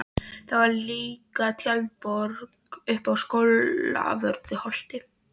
Það var líka tjaldborg uppi á Skólavörðuholti.